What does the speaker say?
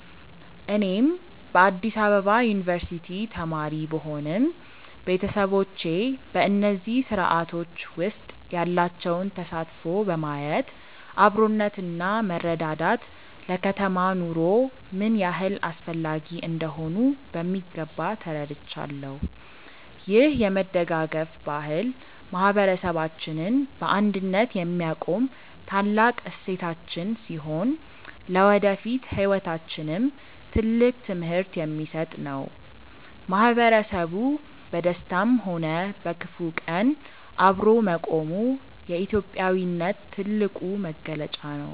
እኔም በአዲስ አበባ ዩኒቨርሲቲ ተማሪ ብሆንም፣ ቤተሰቦቼ በእነዚህ ስርአቶች ውስጥ ያላቸውን ተሳትፎ በማየት አብሮነትና መረዳዳት ለከተማ ኑሮ ምን ያህል አስፈላጊ እንደሆኑ በሚገባ ተረድቻለሁ። ይህ የመደጋገፍ ባህል ማህበረሰባችንን በአንድነት የሚያቆም ታላቅ እሴታችን ሲሆን፣ ለወደፊት ህይወታችንም ትልቅ ትምህርት የሚሰጥ ነው። ማህበረሰቡ በደስታም ሆነ በክፉ ቀን አብሮ መቆሙ የኢትዮጵያዊነት ትልቁ መገለጫ ነው።